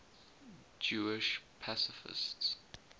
jewish pacifists